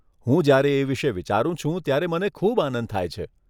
હું જયારે એ વિષે વિચારું છું ત્યારે મને ખૂબ આનંદ થાય છે.